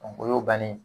o y'o bannen ye